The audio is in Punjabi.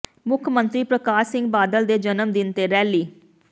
ਮੁੱਖ ਮੰਤਰੀ ਪ੍ਰਕਾਸ਼ ਸਿੰਘ ਬਾਦਲ ਦੇ ਜਨਮ ਦਿਨ ਤੇ ਰੈਲੀ